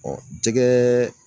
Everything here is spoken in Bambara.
jɛgɛ